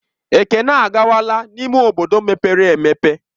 Ekene akwagala n'ime obodo mepere emepe.